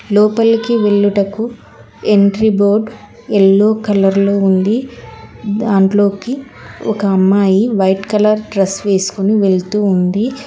లోపలికి వెళ్ళుటకు entry board yellow colour లో ఉంది దాంట్లోకి ఒక అమ్మాయి వైట్ కలర్ డ్రెస్ వేసుకుని వెళ్తూ ఉంది.